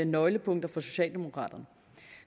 nøglepunkter for socialdemokraterne